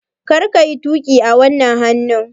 Kar ka yi tuƙi a wannan hannun!